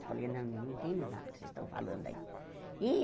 Eu falei, não não entendo nada do que vocês estão falando aí.